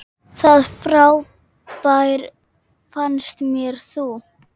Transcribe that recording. Það frábær fannst mér þú.